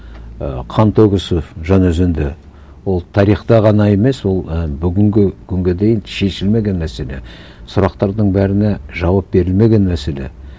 і қантөгіс жанаөзеңде ол тарихта ғана емес ол і бүгінгі күнге дейін шешілмеген мәселе сұрақтардың бәріне жауап берілмеген мәселе